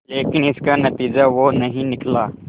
लेकिन इसका नतीजा वो नहीं निकला